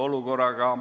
Mis need siis on?